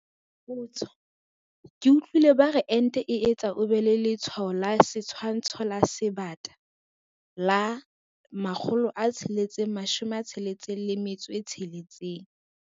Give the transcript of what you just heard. Potso- Ke utlwile ba re ente e etsa o be le letshwao la setshwantsho sa Sebata - la 666.